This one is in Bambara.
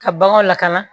Ka baganw lakana